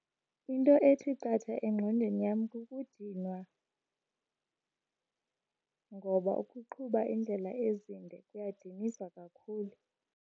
Into ethi qatha engqondweni yam kukudinwa ngoba ukuqhuba iindlela ezinde kuyadinisa kakhulu.